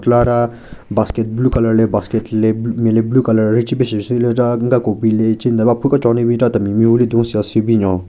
Chelara basket blue colour le basket le nme le blue colour rhache pe shusyü le chelara nka cobi le che nden ko aphu kechon le bin chera temi mehvu le don sales syü binyon.